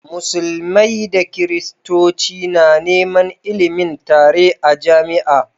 Musulmai da christoci na Neman ilimin tare a jamia